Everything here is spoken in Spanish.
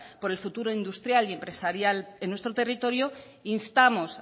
por el futuro industrial y empresarial en nuestro territorio instamos